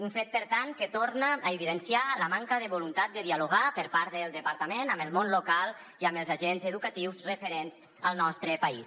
un fet per tant que torna a evidenciar la manca de vo·luntat de dialogar per part del departament amb el món local i amb els agents edu·catius referents al nostre país